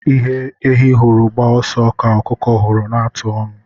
Ihe ehi hụrụ gbaa ọsọ ka ọkụkọ hụrụ na-ata ọnụ